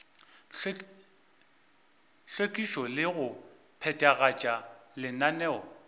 hlwekišo le go phethagatša lenaneo